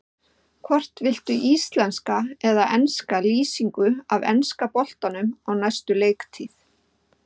Hvort viltu íslenska eða enska lýsingu af enska boltanum á næstu leiktíð?